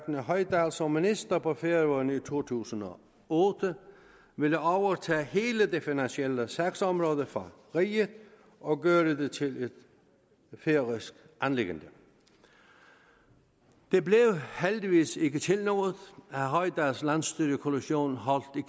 hoydal som minister på færøerne i to tusind og otte ville overtage hele det finansielle sagsområde fra riget og gøre det til et færøsk anliggende det blev heldigvis ikke til noget herre hoydals landsstyrekommission holdt